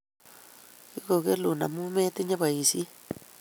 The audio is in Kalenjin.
Kigogelun amu metinye boishiet